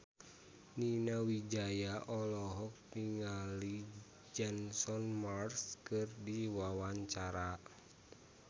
Nani Wijaya olohok ningali Jason Mraz keur diwawancara